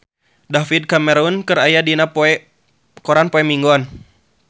David Cameron aya dina koran poe Minggon